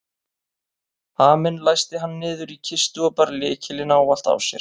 Haminn læsti hann niður í kistu og bar lykilinn ávallt á sér.